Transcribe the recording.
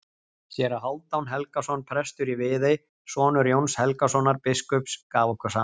Séra Hálfdan Helgason, prestur í Viðey, sonur Jóns Helgasonar biskups, gaf okkur saman.